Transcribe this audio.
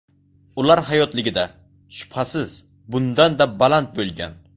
Ular hayotligida, shubhasiz, bundanda baland bo‘lgan.